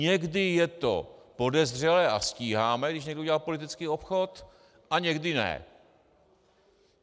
Někdy je to podezřelé a stíháme, když někdo udělá politický obchod, a někdy ne.